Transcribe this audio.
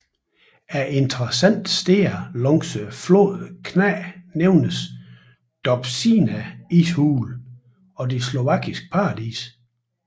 Af interessante steder langs floden kna nævnes Dobšiná Ishulen og det Slovakiske Paradis